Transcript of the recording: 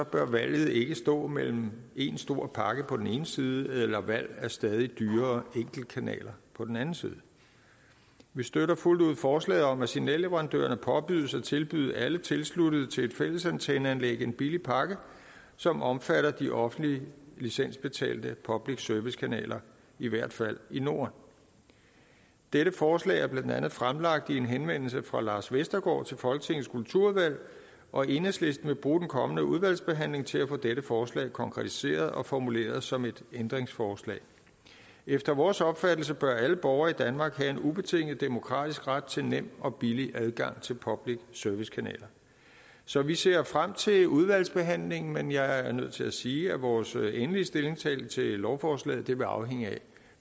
bør valget ikke stå mellem én stor pakke på den ene side og valg af stadig dyrere enkeltkanaler på den anden side vi støtter fuldt ud forslaget om at signalleverandørerne påbydes at tilbyde alle tilsluttede til et fællesantenneanlæg en billig pakke som omfatter de offentlige licensbetalte public service kanaler i hvert fald i norden dette forslag er blandt andet fremlagt i en henvendelse fra lars vestergaard til folketingets kulturudvalg og enhedslisten vil bruge den kommende udvalgsbehandling til at få dette forslag konkretiseret og formuleret som et ændringsforslag efter vores opfattelse bør alle borgere i danmark have en ubetinget demokratisk ret til nem og billig adgang til public service kanaler så vi ser frem til udvalgsbehandlingen men jeg er nødt til at sige at vores endelige stillingtagen til lovforslaget vil afhænge af